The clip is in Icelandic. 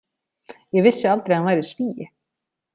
Ég vissi aldrei að hann væri Svíi.